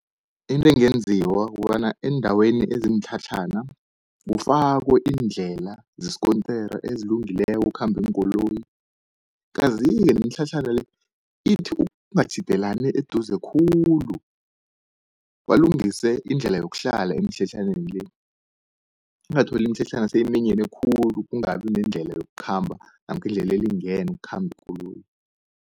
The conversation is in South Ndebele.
Into engenziwa kukobana eendaweni ezimitlhatlhana, kufakwe iindlela zesikontere ezilungileko ukukhamba iinkoloyi. Kazi-ke nemitlhatlhana le ithi ukungatjhidelani eduze khulu, balungise indlela yokuhlala emitlhatlhaneni le. Ungatholi imitlhatlhana seyiminyene khulu, kungabi nendlela yokukhamba namkha indlela elingene ukukhamba ikoloyi.